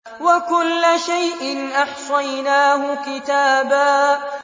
وَكُلَّ شَيْءٍ أَحْصَيْنَاهُ كِتَابًا